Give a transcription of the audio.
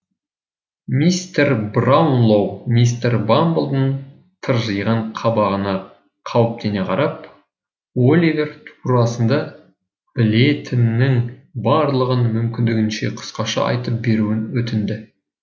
мистер браунлоу мистер бамблдың тыржиған қабағына қауіптене қарап оливер турасында білетінінің барлығын мүмкіндігінше қысқаша айтып беруін өтінді